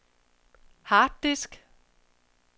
harddisk